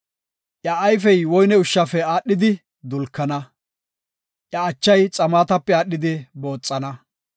Iya ayfey woyne ushshafe aadhidi dulkana; iya achay xaamatape aadhidi booxana.